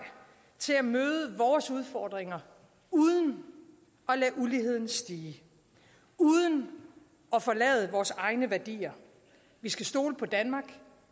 til at møde vores udfordringer uden at lade uligheden stige uden at forlade vores egne værdier vi skal stole på danmark